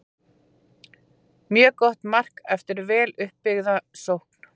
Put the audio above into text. Mjög gott mark eftir vel upp byggða sókn.